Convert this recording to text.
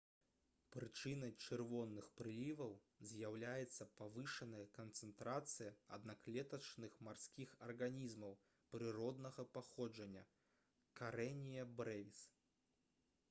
прычынай чырвоных прыліваў з'яўляецца павышаная канцэнтрацыя аднаклетачных марскіх арганізмаў прыроднага паходжання karenia brevis